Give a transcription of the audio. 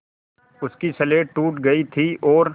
उसकी स्लेट टूट गई थी और